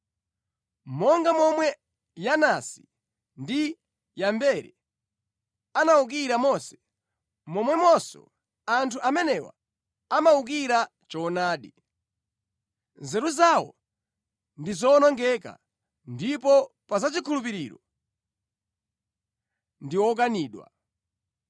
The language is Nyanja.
Monga momwe Yanesi ndi Yambere anawukira Mose, momwemonso anthu amenewa amawukira choonadi. Nzeru zawo ndi zowonongeka ndipo pa za chikhulupiriro, ndi okanidwa.